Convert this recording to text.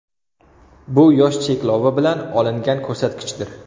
Bu yosh cheklovi bilan olingan ko‘rsatkichdir.